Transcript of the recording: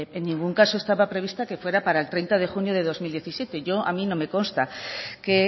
en ningún caso estaba prevista que fuera para el treinta de junio del dos mil diecisiete a mí no me consta que